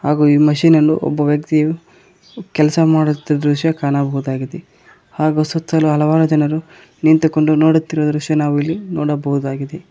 ಹಾಗೂ ಈ ಮಶೀನನು ಒಬ್ಬ ವ್ಯಕ್ತಿ ಕೆಲಸ ಮಾಡುತಿದ್ ದೃಶ್ಯ ಕಾಣಬಹುದಾಗಿದೆ ಹಾಗೂ ಸುತ್ತಲೂ ಹಲವಾರು ಜನರು ನಿಂತುಕೊಂಡು ನೋಡುತ್ತಿರುವ ದೃಶ್ಯ ನಾವು ಇಲ್ಲಿ ನೋಡಬಹುದಾಗಿದೆ.